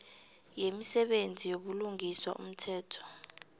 yemisebenzi yobulungiswa umthetho